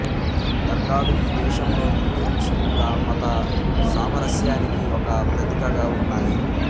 దర్గాలు ఈ దేశంలో హిందూముస్లింల మత సామరస్యానికి ఒక ప్రతీకగా ఉన్నాయి